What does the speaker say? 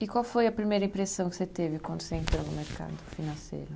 E qual foi a primeira impressão que você teve quando você entrou no mercado financeiro?